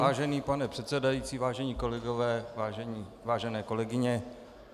Vážený pane předsedající, vážení kolegové, vážené kolegyně.